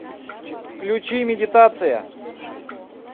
включи медитация